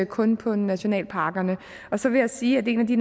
kun på nationalparkerne så vil jeg sige at en af de